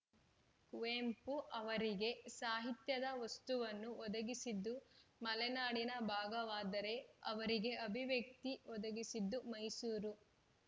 ಕುವೆಂಪು ಅವರಿಗೆ ಸಾಹಿತ್ಯದ ವಸ್ತುವನ್ನು ಒದಗಿಸಿದ್ದು ಮಲೆನಾಡಿನ ಭಾಗವಾದರೆ ಅವರಿಗೆ ಅಭಿವ್ಯಕ್ತಿ ಒದಗಿಸಿದ್ದು ಮೈಸೂರು